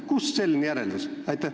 Kust selline järeldus?